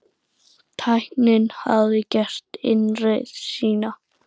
Tæknin hafði gert innreið sína.